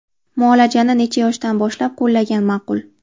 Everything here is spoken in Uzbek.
Muolajani necha yoshdan boshlab qo‘llagan ma’qul?